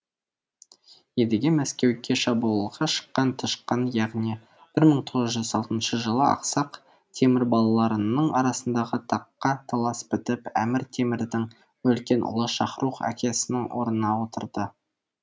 едіге мәскеуге шабуылға шыққан тышқан яғни бір мың төрт жүз тоғызыншы жылы ақсақ темір балаларының арасындағы таққа талас бітіп әмір темірдің үлкен ұлы шахрух әкесінің орнына отырды